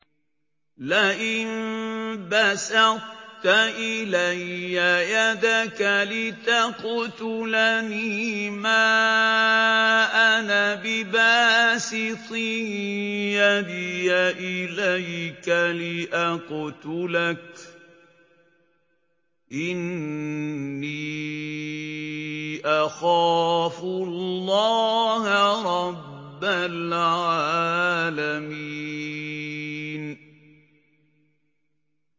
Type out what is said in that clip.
لَئِن بَسَطتَ إِلَيَّ يَدَكَ لِتَقْتُلَنِي مَا أَنَا بِبَاسِطٍ يَدِيَ إِلَيْكَ لِأَقْتُلَكَ ۖ إِنِّي أَخَافُ اللَّهَ رَبَّ الْعَالَمِينَ